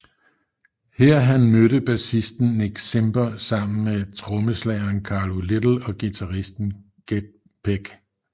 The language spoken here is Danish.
Her han mødte bassisten Nick Simper sammen med trommeslageren Carlo Little og guitaristen Ged Peck